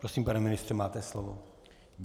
Prosím, pane ministře, máte slovo.